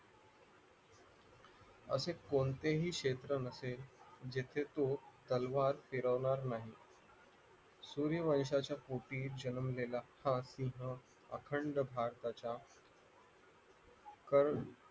असे कोणतेही क्षेत्र नसेल जेथे तो तलवार फिरवणार नाही जुनीवंवशाच्या पोटी जन्मलेला हा सिंह अखंड भारताचा क